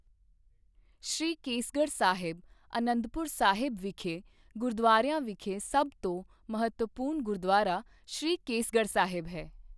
ਸ਼੍ਰੀ ਕੇਸਗੜ੍ਹ ਸਾਹਿਬ ਅਨੰਦਪੁਰ ਸਾਹਿਬ ਵਿਖੇ ਗੁਰਦੁਆਰਿਆਂ ਵਿਖੇ ਸਭ ਤੋਂ ਮਹੱਤਵਪੂਰਨ ਗੁਰਦੁਆਰਾ ਸ਼੍ਰੀ ਕੇਸਗੜ੍ਹ ਸਾਹਿਬ ਹੈ